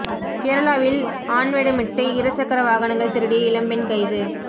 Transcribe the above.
கேரளாவில் ஆண்வேடமிட்டு இருசக்கர வாகனங்கள் திருடிய இளம்பெண் கைது